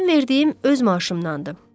Mənim verdiyim öz maaşımdandır.